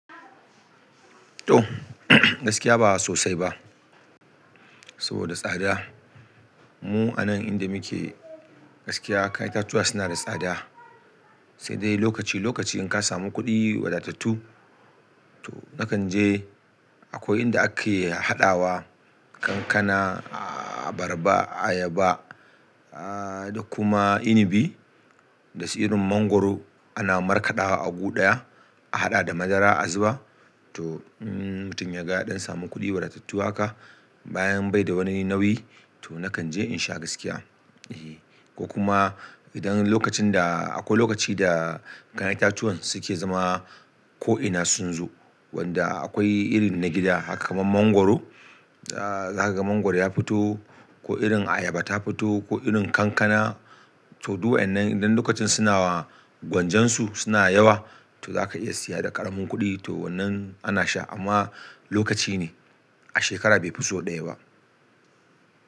To, gaskiya ba sosai ba saboda tsada. Mu a nan inda muke gaskiya, kayan itatuwa suna da tsada. Sai dai lokaci lokaci in ka samu kuɗi wadatattu, to nakan je akwai inda ake haɗawa kankana, abarba, ayaba, ahhh da kuma inibi da su irin mangwaro ana markaɗawa a gu ɗaya, a haɗa da madara a zuba. To in mutum ya ga ya ɗan samu kuɗi wadatattu haka, bayan bai da wani nauyi to nakan je in sha gaskiya. Ehh ko kuma idan lokacin da akwai lokaci da kayan itatuwan suke zama ko'ina sun zo, wanda akwai irin na gida haka kamar mangwaro. Za ka ga mangwaro ya fito ko irin ayaba ta fito ko irin kankana. To duk wayannan idan lokacin suna gwanjansu suna yawa, to zaka iya siya da ƙaramin kuɗi. To wannan ana sha amma lokaci ne a shekara bai fi sau ɗaya ba.